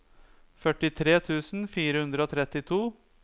førtitre tusen fire hundre og trettito